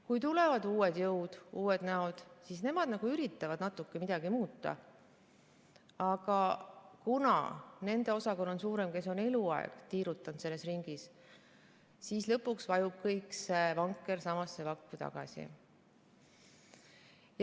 Kui tulevad uued jõud, uued näod, siis nemad küll üritavad natuke midagi muuta, aga kuna nende osakaal on suurem, kes on eluaeg tiirutanud selles ringis, vajub kogu see vanker lõpuks samasse vakku tagasi.